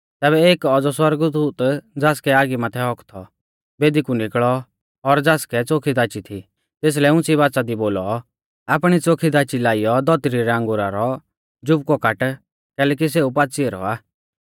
तैबै एक औज़ौ सौरगदूत ज़ासकै आगी माथै हक्क थौ बेदी कु निकल़ौ और ज़ासकै च़ोखी दाची थी तेसलै उंच़ी बाच़ा दी बोलौ आपणी च़ोखी दाची लाइयौ धौतरी रै अंगुरा रौ जुबकु काट कैलैकि सेऊ पाच़ी ऐरौ आ